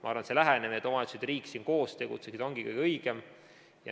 Ma arvan, et see lähenemine, et omavalitsused ja riik siin koos tegutseksid, ongi kõige õigem.